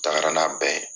Taga n'a bɛɛ ye